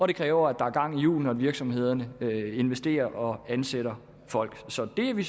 det kræver at der er gang i hjulene og at virksomhederne investerer og ansætter folk så det er vi